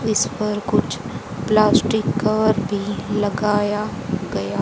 इस पर कुछ प्लास्टिक कवर भी लगाया गया--